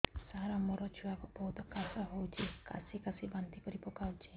ସାର ମୋ ଛୁଆ କୁ ବହୁତ କାଶ ହଉଛି କାସି କାସି ବାନ୍ତି କରି ପକାଉଛି